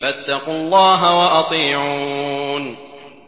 فَاتَّقُوا اللَّهَ وَأَطِيعُونِ